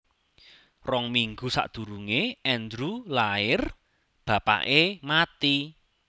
Rong minggu sakdurunge Andrew lair bapake mati